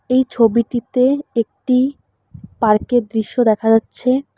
এই ছবিটিতে একটি পার্ক -এর দৃশ্য দেখা যাচ্ছে।